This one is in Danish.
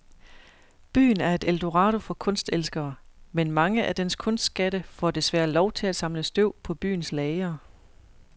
Byen er et eldorado for kunstelskere, men mange af dens kunstskatte får desværre lov til at samle støv på byens lagre.